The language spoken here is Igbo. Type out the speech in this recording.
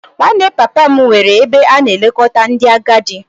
Nwanne papa m nwere ebe a na-elekọta ndị agadi